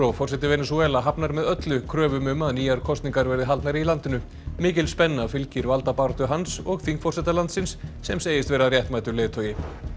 forseti Venesúela hafnar með öllu kröfum um að nýjar kosningar verði haldnar í landinu mikil spenna fylgir valdabaráttu hans og þingforseta landsins sem segist vera réttmætur leiðtogi